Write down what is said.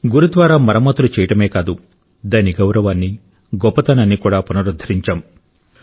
గురుద్వారా మరమ్మతులు చేయడమే కాదు దాని గౌరవాన్ని గొప్పతనాన్ని కూడా పునరుద్ధరించాం